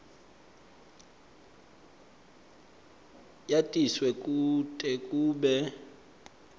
yatiswe kute kube